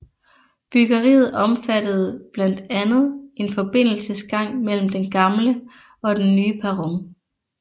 Byggeriet omfattede blandt andet en forbindelsesgang mellem den gamle og den nye perron